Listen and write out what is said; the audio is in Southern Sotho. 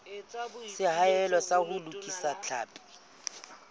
seahelo sa ho lokisa tlhapi